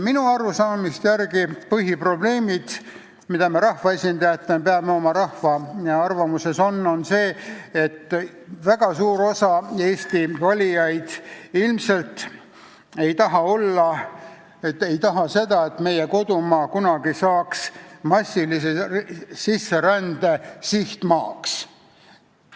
Minu arusaamise järgi on põhiprobleem, mida me rahvaesindajatena peame teadma, see, et väga suur osa Eesti valijaid ilmselt ei taha, et meie kodumaa kunagi saaks massilise sisserände sihtmaaks.